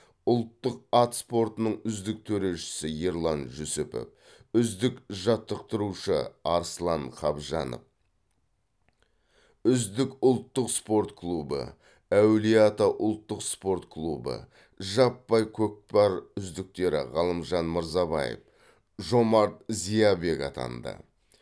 ұлттық ат спортының үздік төрешісі ерлан жүсіпов үздік жаттықтырушы арслан қабжанов үздік ұлттық спорт клубы әулие ата ұлттық спорт клубы жаппай көкпар үздіктері ғалымжан мырзабаев жомарт зиябек атанды